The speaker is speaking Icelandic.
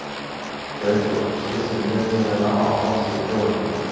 Freyþór, stilltu niðurteljara á áttatíu og fjórar mínútur.